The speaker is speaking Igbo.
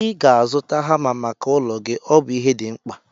Ị ga-azụta hama maka ụlọ gị, ọ bụ ihe dị mkpa